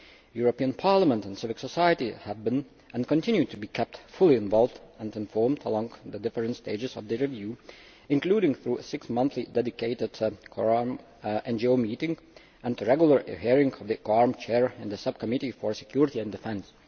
The European Parliament and civil society have been and continue to be kept fully involved and informed along the different stages of the review, including through six monthly dedicated COARM NGO meetings and regular hearings of the COARM Chair in the Subcommittee on Security and Defence.